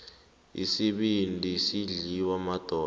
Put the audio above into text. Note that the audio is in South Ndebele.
isibindi sidliwa madoda